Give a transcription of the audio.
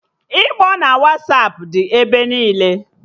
Ịkpọ na Wasapụ dị ebe niile